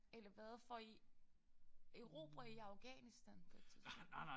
Eller hvad får I erobrer I Afghanistan på et tidspunkt